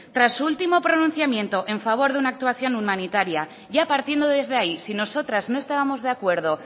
tras su último pronunciamiento en favor de una actuación humanitaria ya partiendo desde ahí si nosotras no estábamos de acuerdo